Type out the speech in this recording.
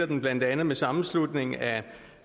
den blandt andet med sammenslutningen af